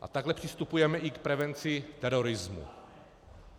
A takhle přistupujeme i k prevenci terorismu.